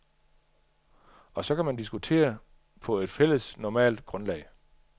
Og så kan man diskutere på et fælles normativt grundlag.